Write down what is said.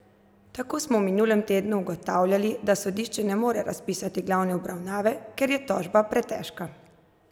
Tako smo v minulem tednu ugotavljali, da sodišče ne more razpisati glavne obravnave, ker je tožba pretežka!